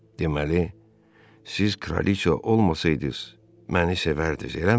Deməli, siz kraliça olmasaydız, məni sevərdiz, eləmi?